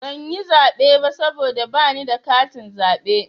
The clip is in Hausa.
Ban yi zaɓe ba saboda bani da katin zaɓe.